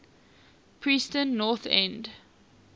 preston north end